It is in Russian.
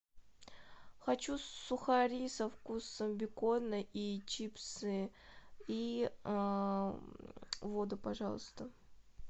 хочу сухари со вкусом бекона и чипсы и воду пожалуйста